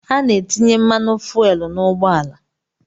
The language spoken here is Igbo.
A na-etinye mmanụ fuelu n'ụgbọala